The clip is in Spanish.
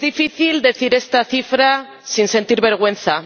Es difícil decir esta cifra sin sentir vergüenza